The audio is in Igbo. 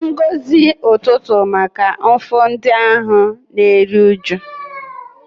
Ngọzi ụtụtụ maka mfu ndị ahụ na-eru uju.